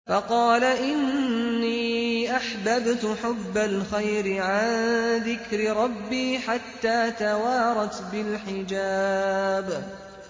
فَقَالَ إِنِّي أَحْبَبْتُ حُبَّ الْخَيْرِ عَن ذِكْرِ رَبِّي حَتَّىٰ تَوَارَتْ بِالْحِجَابِ